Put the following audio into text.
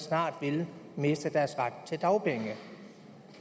snart vil miste deres ret til dagpenge